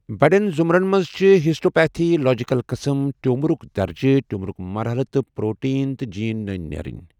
بٔڑٮ۪ن زُمرن منٛز چھِ ہسٹوپیتھولوجیکل قٕسم، ٹیوٗمرُک درجہٕ، ٹیوٗمرٕک مرحلہ، تہٕ پروٹیٖن تہٕ جین نٔنۍ نیرٕنۍ۔